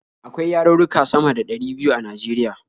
Akwai yarurruka sama da ɗari biyu a Najeriya.